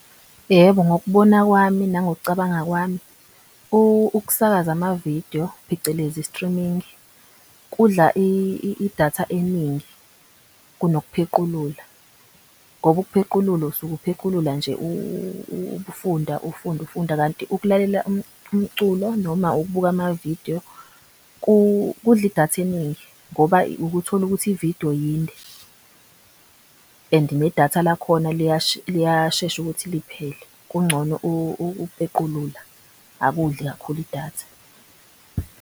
Yebo, ngokubona kwami nangokucabanga kwami ukusakaza amavidiyo phecelezi streaming kudla idatha eningi kunokuphequlula. Ngoba ukuphequlula usuke uphequlula nje, ufunda ufunda kanti ukulalela umculo noma ukubuka amavidiyo kudla idatha eningi. Ngoba ukuthole ukuthi ividiyo yinde and nedatha lakhona liyashesha ukuthi liphele, kungcono ukuphequlula angakudli kakhulu idatha.